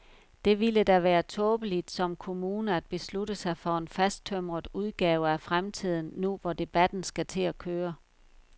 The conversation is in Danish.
Det ville da være tåbeligt som kommune at beslutte sig for en fasttømret udgave af fremtiden nu, hvor debatten skal til at køre.